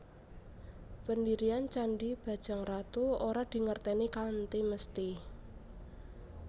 Pendirian Candhi Bajangratu ora dingertèni kanthi mesti